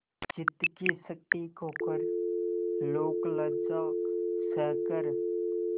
चित्त की शक्ति खोकर लोकलज्जा सहकर